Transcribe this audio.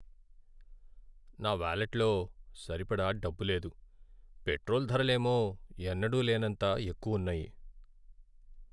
నా వాలెట్లో సరిపడా డబ్బు లేదు, పెట్రోల్ ధరలేమో ఎన్నడూ లేనంత ఎక్కువ ఉన్నాయి.